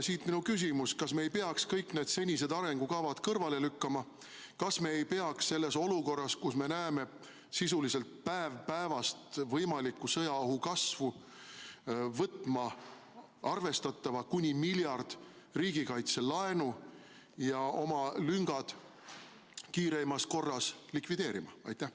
Siit minu küsimus: kas me ei peaks kõik senised arengukavad kõrvale lükkama, kas me ei peaks selles olukorras, kus me näeme sisuliselt päevast päeva võimaliku sõjaohu kasvu, võtma arvestatava, kuni miljardi euro suuruse riigikaitselaenu ja lüngad kiireimas korras likvideerima?